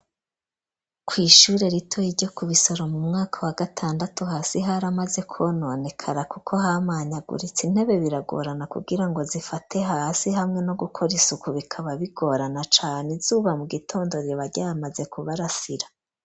Ku ishure ritoye iryo ku bisoro mu mwaka wa gatandatu hasi hari amaze kononekara kuko hamanya aguritse intebe biragorana kugira ngo zifate hasi hamwe no gukora isuku bikaba bigorana cane izuba mu gitondo ribaryamaze kubarasira.